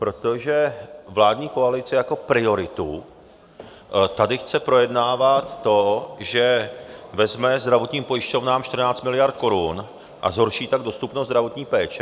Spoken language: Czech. Protože vládní koalice jako prioritu tady chce projednávat to, že vezme zdravotním pojišťovnám 14 miliard korun, a zhorší tak dostupnost zdravotní péče.